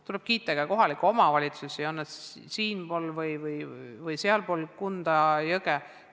Tuleb kiita ka kohalikke omavalitsusi, on nad siinpool või sealpool Kunda jõge.